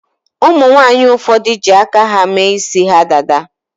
Umunwanyi ụfọdụ ji aka ha mee isi ha dada.